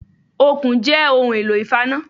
Okùn jẹ́ ohun èlò ìfaná